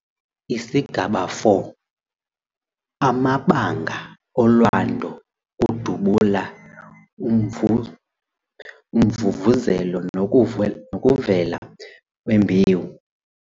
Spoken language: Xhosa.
ISIGABA 4- AMABANGA OLWANDO - UKUDUBULA, UMVUMVUZELO NOKUVELA KWEMBEWU